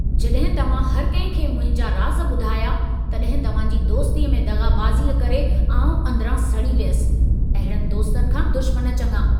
जॾहिं तव्हां हर कंहिं खे मुंहिंजा राज़ ॿुधाया, तॾहिं तव्हां जी दोस्तीअ में दग़ाबाज़ीअ करे आउं अंदिरां सड़ी वियसि, अहिड़नि दोस्तनि खां दुश्मन चङा।